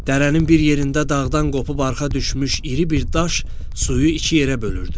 Dərənin bir yerində dağdan qopub arxa düşmüş iri bir daş suyu iki yerə bölürdü.